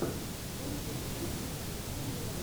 лучший эпизод киножурнала ералаш